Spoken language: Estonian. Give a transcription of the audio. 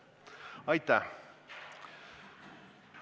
Aitäh!